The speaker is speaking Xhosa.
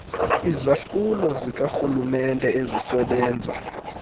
izahlulo zikarhulumenete ezisebenza